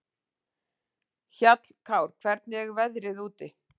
Hjallkár, hvernig er veðrið úti?